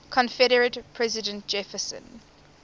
confederate president jefferson